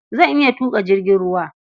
Zan iya tuƙa jirgin ruwa.